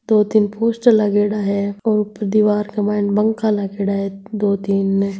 दो-तीन पोस्टर लागेडा है और दिवार के मायन पंखा लागेडा है दो-तीन ने।